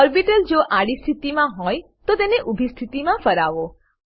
orbital જો આડી સ્થિતિમાં હોય તો તેને ઊભી સ્થિતિમાં ફરાવો